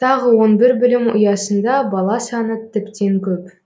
тағы он бір білім ұясында бала саны тіптен көп